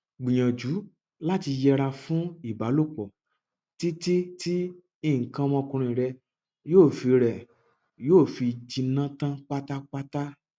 gbìyànjú láti yẹra fún ìbálòpọ títí tí nǹkan ọmọkùnrin rẹ yóò fi rẹ yóò fi jinná tán pátápátá